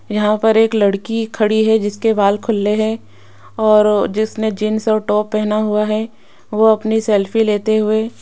यहां पर एक लड़की खड़ी है जिसके बाल खुले हैं और जिसने जींस और टॉप पहना हुआ है वह अपनी सेल्फी लेते हुए --